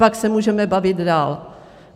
Pak se můžeme bavit dál.